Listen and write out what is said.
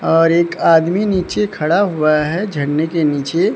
और एक आदमी नीचे खड़ा हुआ है झरने के नीचे--